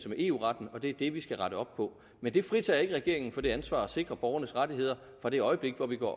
med eu retten og det er det vi skal rette op på men det fritager ikke regeringen for det ansvar at sikre borgernes rettigheder fra det øjeblik hvor det går